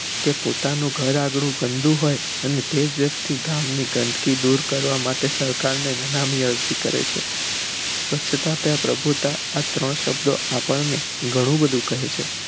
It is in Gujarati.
કે પોતા નું ઘર આંગણું ગંદુ હોઈ અને તેજ વ્યક્તિ ગામ ની ગંદકી દૂર કરવા સરકાર ને નકામી અરજી કરે છે સ્વચ્છતા ત્યાં પ્રભુતા આ ત્રણ શબ્દો આપણને ઘણું બધું કહે છે